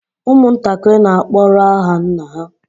Ụmụntakịrị n'akpọrọ aha nna ha